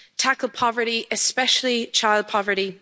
tackle poverty, especially child poverty